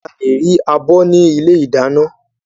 Áà lè rí abọ́ ni ilé ìdáná.